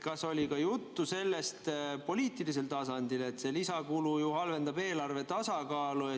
Kas oli ka juttu poliitilisel tasandil sellest, et see lisakulu ju halvendab eelarve tasakaalu?